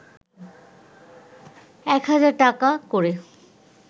এক হাজার টাকা করে